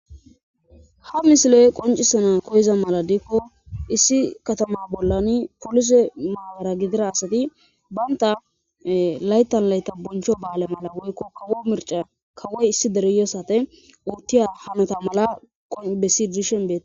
Ha misiley qoncisana koyiza mala diikko issi katama bollani polise maara gidira asati baynta laytan layta boncho ba'aale mala woykko kawo mirca kawoy issi dereyosate uuttiya hanata mala qo bessi dishen bee